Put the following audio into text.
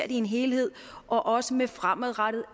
i en helhed og også med fremadrettede